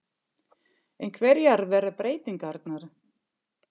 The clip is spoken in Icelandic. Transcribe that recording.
En hverjar verða breytingarnar?